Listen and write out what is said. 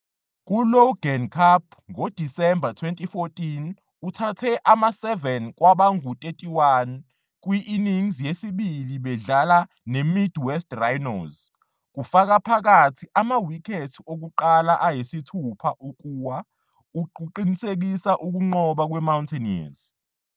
Ku-Logan Cup ngoDisemba 2014 uthathe ama-7 kwabangu-31 kwi-innings yesibili bedlala neMid West Rhinos, kufaka phakathi amawikhethi okuqala ayisithupha ukuwa, ukuqinisekisa ukunqoba kwe-Mountaineers.